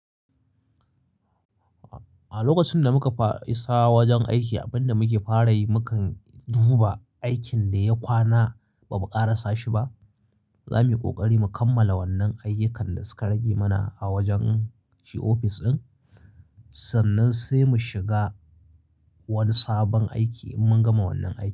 A lokacin da muka fa isa wajen aiki, abin da muke fara yi mukan duba aikin da ya kwana ba mu ƙarasa shi ba. Za muyi ƙoƙari mu kammala wannan ayyukan da suka rage mana a wajen shi ofis ɗin sannan sai mu shiga wani sabon aiki in mun gama wannan aikin.